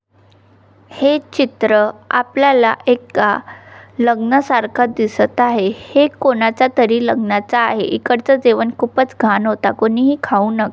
हे चित्र आपल्याला एका लग्ना सारखा दिसत आहै हे कोणाचा तरी लग्नाचा आहे इकडचा जेवण खूपच घाण होता कोणी ही खाऊ न --